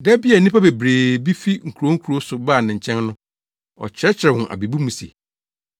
Da bi a nnipa bebree bi fi nkurow nkurow so baa ne nkyɛn no, ɔkyerɛkyerɛɛ wɔn abebu mu se,